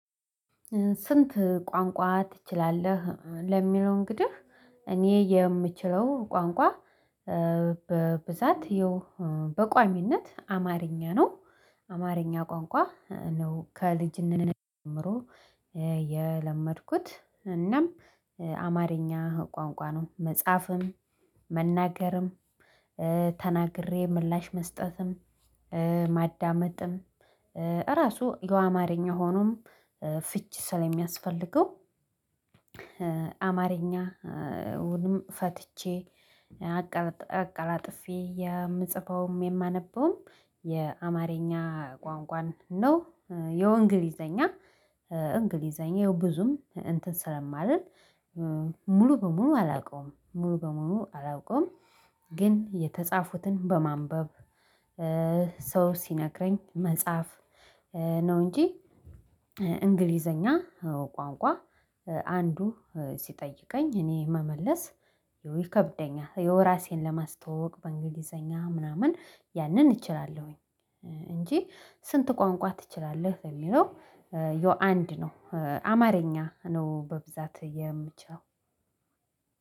ስንት ቋንቋ ትችላለህ ለሚለው እንግዲህ እኔ የምችለው ቋንቋ በብዛት ይኸው በቋሚነት አማርኛ ነው አማርኛ ቋንቋ ነው። ከልጅነቴ ጀምሮ የለመድኩት እናም አማርኛ ቋንቋኑን መጻፍም መናገርም ተናግሬ ምላሽ መስጠትም ማዳመጥም ራሱ ጎአማርኛ ሆኖም ፊቺ ስለሚያስፈልገው አማርኛ አዉንም ፈትቼ አቀላጥፌ የምጽፈውም የማነበውም የአማርኛ ቋንቋን ነው። የእንግሊዘኛ እንግሊዘኛ ያው ብዙም እንትን ስለማልል ሙሉ በሙሉ አላውቀውም ሙሉ በሙሉ አላውቀውም ግን የተጻፉትን በማንበብ ሰው ሲነግረኝ መጽሐፍ ነው እንጂ እንግሊዘኛ ቋንቋ አንዱ ሲጠይቀኝ እኔ መመለስ ይከብደኛል የው ራሴን ለማስተዋወቅ በእንግሊዘኛ ምናምን ያንን እችላለሁኝ እንጂ ስንት ቋንቋ ትችላለህ የሚለው ዩ አንድ ነው አማርኛ ነው በብዛት የምችለው።